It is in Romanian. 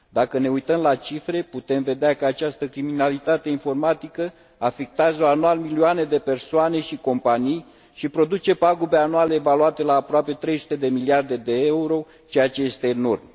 Dacă ne uităm la cifre, putem vedea că această criminalitate informatică afectează anual milioane de persoane și companii și produce pagube anuale evaluate la aproape 300 de miliarde euro, ceea ce este enorm.